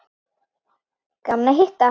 Gaman að hitta